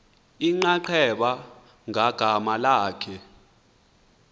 inxaxheba ngagama lakhe